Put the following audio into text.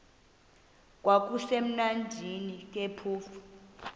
kwakusekumnandi ke phofu